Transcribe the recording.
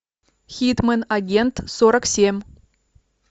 хитмэн агент сорок семь